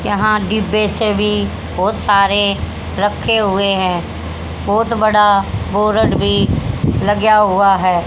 यहां डिब्बे से भी बहोत सारे रखे हुए हैं बहोत बड़ा बोरड भी लगया हुआ है।